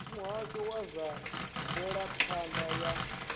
muhasho wa zwa mvelaphanda ya